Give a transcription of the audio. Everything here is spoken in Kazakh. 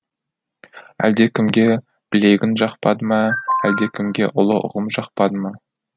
әлдекімге білегің жақпады ма әлдекімге ұлы ұғым жақпады ма